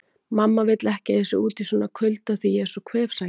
Mamma vill ekki að ég sé úti í svona kulda því ég er svo kvefsækinn